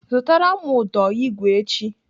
Zụtara m ụdọ igwe echi!